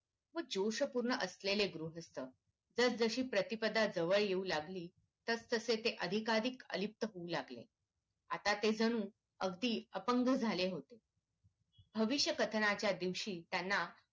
व जोश पूर्ण असलेले गृहस्थ जस जशी प्रतिपदा जवळ येऊ लागली तस तसे अधिकाधिक अलिप्त होऊ लागले आता ते जणू अगदी अपंग झाले होते भविष्य कथनाच्या दिवशी त्यांना